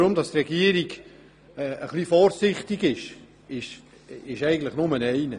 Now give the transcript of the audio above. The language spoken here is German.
Dass die Regierung etwas vorsichtig ist, hat eigentlich nur einen Grund: